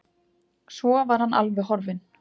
Svo var hann alveg horfinn.